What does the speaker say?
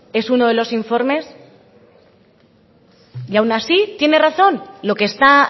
es uno de los informes y aun así tiene razón lo que está